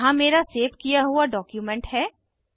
यहाँ मेरा सेव किया हुआ डॉक्युमेंट है